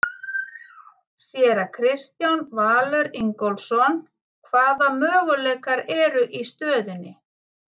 Séra Kristján Valur Ingólfsson: Hvaða möguleikar eru í stöðunni?